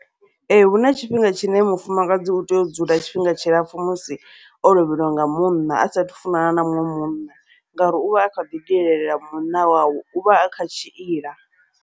Ee, huna tshifhinga tshine mufumakadzi utea u dzula tshifhinga tshilapfhu musi o lovhelwa nga munna a saathu funana na muṋwe munna, ngauri uvha a kha ḓi lilela munna wawe uvha a kha tshiila.